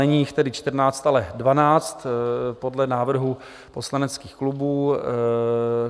Není jich tedy 14, ale 12 podle návrhů poslaneckých klubů.